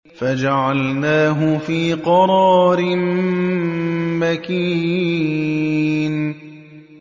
فَجَعَلْنَاهُ فِي قَرَارٍ مَّكِينٍ